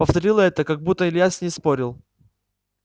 повторила это как будто илья с ней спорил